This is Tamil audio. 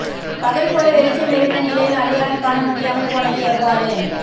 பகல் போல வெளிச்சம் இருந்த நிலையில் அடையாளம் காண முடியாமல் போனது எவ்வாறு